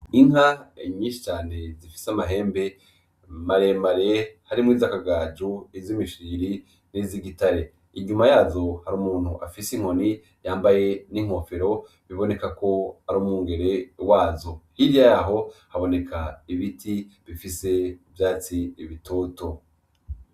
Inka nyinshi cane zifise amahembe maremare harimwo izakagajo zimishiriri n'izigitare, inyuma yazo hari umuntu afise inkoni yambaye n'inkofero biboneka ko ari umwungere wazo, hirya yaho haboneka ibiti bifise ivyatsi bitoto.